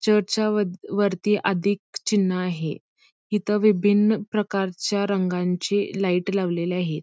चर्चच्या वरती अधिक चिन्ह आहे हिथं विभिन्न प्रकारच्या रंगांची लाईट लावलेली आहे.